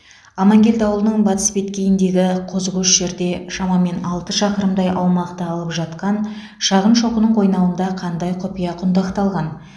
амангелді ауылының батыс беткейіндегі қозыкөш жерде шамамен алты шақырымдай аумақты алып жатқан шағын шоқының қойнауында қандай құпия құндақталған